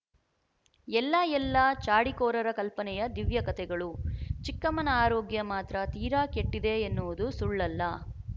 ಎಲ್ಲ ಎಲ್ಲ ಚಾಡಿಖೋರರ ಕಲ್ಪನೆಯ ದಿವ್ಯಕತೆಗಳು ಚಿಕ್ಕಮ್ಮನ ಆರೋಗ್ಯ ಮಾತ್ರ ತೀರ ಕೆಟ್ಟಿದೆ ಎನ್ನುವುದು ಸುಳ್ಳಲ್ಲ